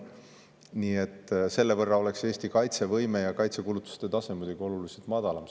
Nii et selle võrra oleks Eesti kaitsevõime ja kaitsekulutuste tase muidugi oluliselt madalam.